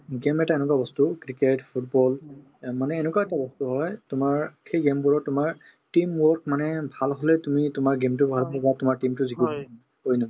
game এটা এনেকুৱা বস্তু cricket, football এ মানে এনেকুৱা এটা বস্তু হয় তোমাৰ সেই game বোৰত তোমাৰ team work মানে ভাল হলে তুমি তোমাৰ game তো বাহিৰত নিবা তোমাৰ team তো জিকিবই